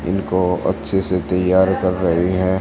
इनको अच्छे से तैयार कर रही है।